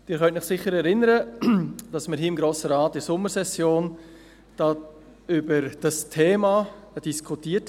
Sie können sich sicher erinnern, dass wir hier im Grossen Rat in der Sommersession über dieses Thema diskutierten.